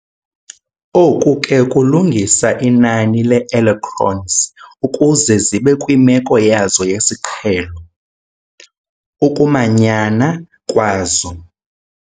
Oku ke kulungisa inani lee-electrons ukuze zibe kwimeko yazo yesiqhelo, ukumanyana, kwazo.